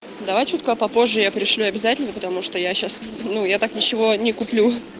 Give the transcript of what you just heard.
давай чутка попозже я пришлю обязательно потому что я сейчас ну я так ничего не куплю